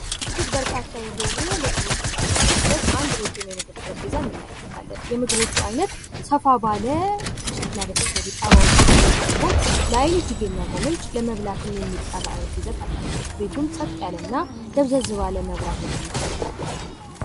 እጅግ በርካታ የሆኑ ምግቦች የተደራደሩበት እንድ ረጅም ጠረጴዛ እንመለከታለን የምግቦቹ አይነት ሰፋ ባለ ከሸኽላ በተሰሩ ጣውላዎች የቀረበ ሲሆን ለአይን እጅግ የሚያጎመጅ ለመብላትም አይነት ሂደት አላቸው። ቤቱም ጸጥ ያለ እና ደብዘዝ ባለ መብራት የደመቀ ነው።